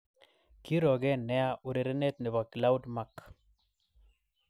Kirogen nea urerenet nebo Claude Mak�l�l�.